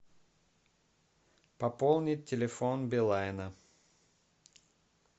пополнить телефон билайна